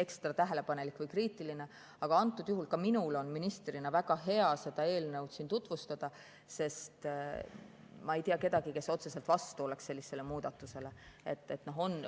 ekstra tähelepanelik või kriitiline, aga antud juhul on ka minul ministrina väga hea seda eelnõu siin tutvustada, sest ma ei tea kedagi, kes sellisele muudatusele otseselt vastu oleks.